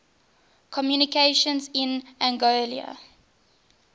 communications in anguilla